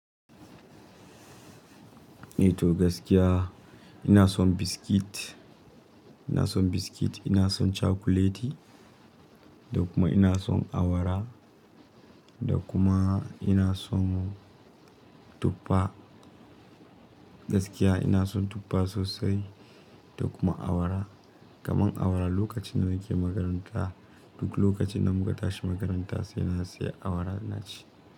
Eh to gaskiya ina son biskit, ina son biskit, ina son cakuleti da kuma ina son awara da kuma ina son tuffa. Gaskiya ina son tuffa sosai da kuma awara. Kaman awara lokacin da muke makaranta, duk lokacin da muka tashi makaranta sai na saya awara na ci.